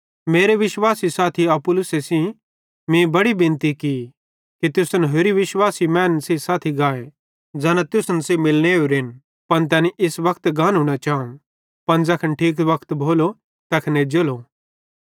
ते विश्वासी साथी अपुल्लोसे सेइं मीं बड़ी बिनती की कि तुसन कां होरि विश्वासी मैनन् सेइं साथी गाए ज़ैना तुसन सेइं मिलने ओरेन पन तैनी इस वक्ते गानू न चाव पन ज़ैखन ठीक वक्त भोलो तैखन एज्जेलो